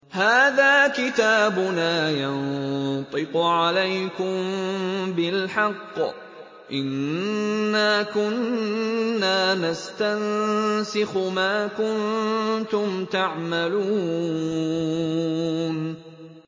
هَٰذَا كِتَابُنَا يَنطِقُ عَلَيْكُم بِالْحَقِّ ۚ إِنَّا كُنَّا نَسْتَنسِخُ مَا كُنتُمْ تَعْمَلُونَ